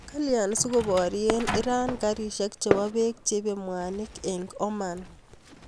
Kalya sikoparyee Iran Karishek chepoo peek cheipee mwanik eng Oman ??